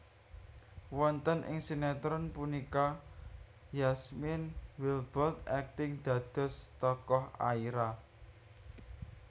Wonten ing sinétron punika Yasmine Wildbold akting dados tokoh Aira